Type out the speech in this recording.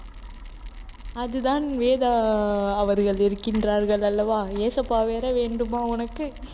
அதுதான் வேதா அவர்கள் இருக்கின்றார்கள் அல்லவா இயேசப்பா வேற வேண்டுமா உனக்கு